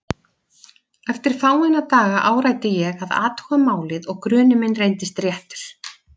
Eftir fáeina daga áræddi ég að athuga málið og grunur minn reyndist réttur.